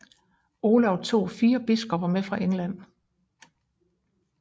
Olav tog fire biskopper med fra England